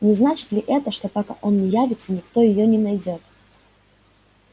не значит ли это что пока он не явится никто её не найдёт